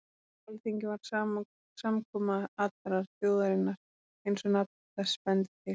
Alþingi var samkoma allrar þjóðarinnar eins og nafn þess bendir til.